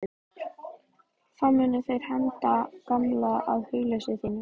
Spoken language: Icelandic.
Þá munu þeir henda gaman að hugleysi þínu.